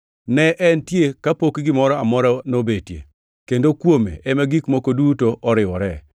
Ne entie kapok gimoro amora nobetie, kendo kuome ema gik moko duto oriwore.